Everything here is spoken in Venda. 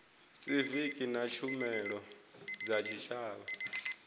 siviki na tshumelo dza tshitshavha